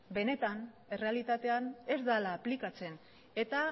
benetan errealitatean ez dela aplikatzen eta